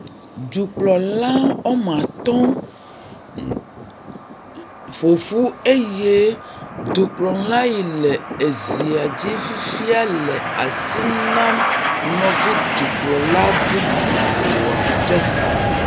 Dukplɔla woame atɔ̃ ƒoƒu eye dukplɔla yi le ezia dzi fifia le asi nam nɔvi dukplɔla bubu aɖe.